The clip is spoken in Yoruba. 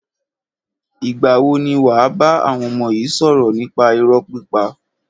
Ìgbà wo ni wàá bá àwọn ọmọ yi sọ̀rọ̀ nípa irọ́ pípa?